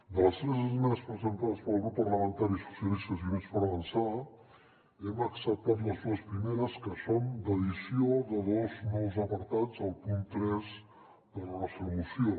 de les tres esmenes presentades pel grup parlamentari socialistes i units per avançar hem acceptat les dues primeres que són d’addició de dos nous apartats al punt tres de la nostra moció